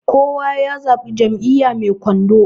kowa ya zaɓi Jam'iyya mai kwando